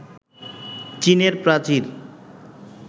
চীনের প্রাচীর